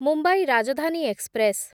Mumbai Rajdhani express